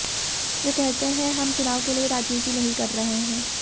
वे कहते हैं हम चुनाव के लिए राजनीति नहीं कर रहे हैं